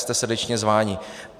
Jste srdečně zváni.